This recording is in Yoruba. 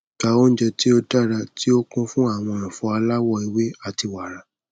gba ounjẹ ti o dara ti o kun fun awọn ẹfọ alawọ ewe ati wara